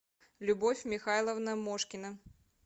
любовь михайловна мошкина